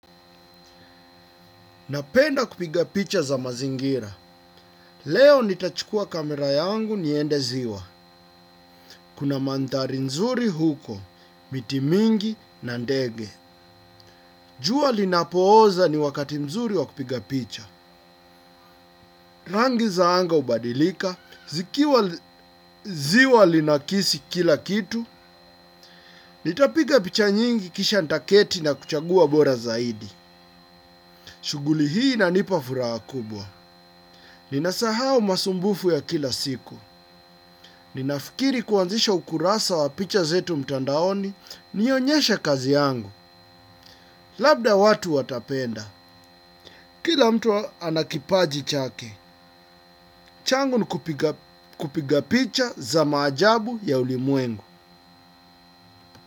Napenda kupiga picha za mazingira. Leo nitachukua kamera yangu niende ziwa. Kuna mandhari nzuri huko, miti mingi na ndege. Jua linapooza ni wakati mzuri wa kupiga picha. Rangi za anga hubadilika. Zikiwa ziwa linakisi kila kitu. Nitapiga picha nyingi kisha nitaketi na kuchagua bora zaidi. Shuguli hii inanipafuraha kubwa. Ninasahau masumbufu ya kila siku. Ni nafikiri kuanzisha ukurasa wa picha zetu mtandaoni nionyeshe kazi yangu. Labda watu watapenda. Kila mtu anakipaji chake. Changu nikupiga picha za maajabu ya ulimwengu.